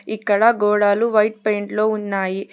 ఇక్కడ గోడలు white paint లో ఉన్నాయి.